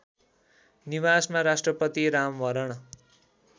निवासमा राष्ट्रपति रामवरण